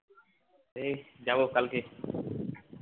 এই যাব কালকে